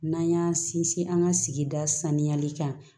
N'an y'an sinsin an ka sigida saniyali kan